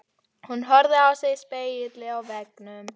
Hún horfði á sig í spegli á veggnum.